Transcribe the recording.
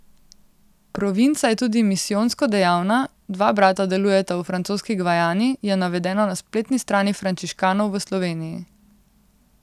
Provinca je tudi misijonsko dejavna, dva brata delujeta v Francoski Gvajani, je navedeno na spletni strani frančiškanov v Sloveniji.